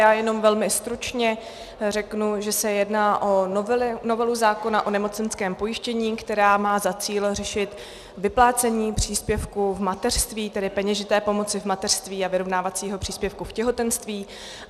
Já jenom velmi stručně řeknu, že se jedná o novelu zákona o nemocenském pojištění, která má za cíl řešit vyplácení příspěvku v mateřství, tedy peněžité pomoci v mateřství, a vyrovnávacího příspěvku v těhotenství.